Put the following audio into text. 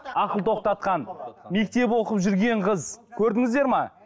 ақыл тоқтатқан мектеп оқып жүрген қыз көрдіңіздер ме